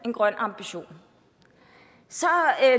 en grøn ambition så